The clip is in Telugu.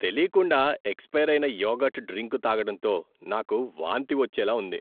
తెలీకుండా ఎక్స్పైర్ అయిన యోగర్ట్ డ్రింకు తాగడంతో నాకు వాంతవచ్చేలా ఉంది.